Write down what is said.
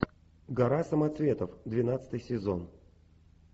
гора самоцветов двенадцатый сезон